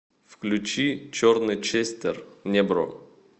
включи черный честер небро